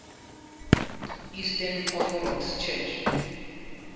eastern orthodox church